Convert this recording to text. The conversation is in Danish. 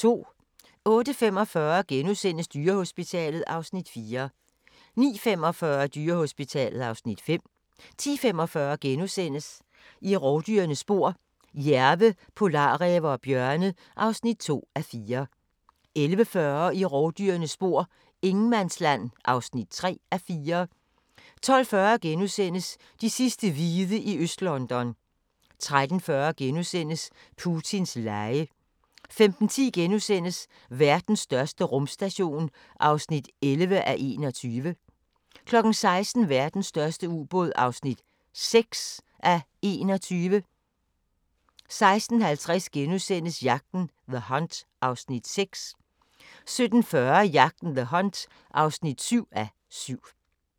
08:45: Dyrehospitalet (Afs. 4)* 09:45: Dyrehospitalet (Afs. 5) 10:45: I rovdyrenes spor: Jærve, polarræve og bjørne (2:4)* 11:40: I rovdyrenes spor: Ingenmandsland (3:4) 12:40: De sidste hvide i Øst-London * 13:40: Putins lege * 15:10: Verdens største rumstation (11:21)* 16:00: Verdens største ubåd (6:21) 16:50: Jagten – The Hunt (6:7)* 17:40: Jagten – The Hunt (7:7)